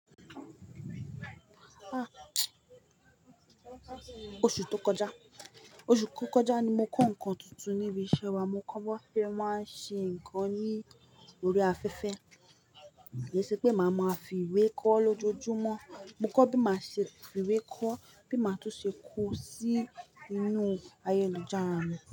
Ah! Oṣù tó kọjá, oṣù tó kọjá ni mo kọ́ ǹkan tuntun níbi iṣẹ́ wa, mo kọ́ bó se máa ń ṣe ǹkan ní orí afẹ́fẹ́. Ki ṣe pé màá máa fi ìwé kọ́ lójoojúmọ́. Mo kọ́ bí màá ṣe fi ìwé kọ́, bí màá tún ṣe kó o sí inú ayélujára mi.